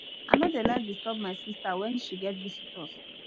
i no dey like disturb my sista wen she get visitor